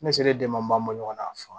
Ne selen denma a fa